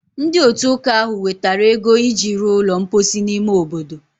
Ndị otu ụka ahụ wetara ego iji ruo ụlọ mposi n’ime obodo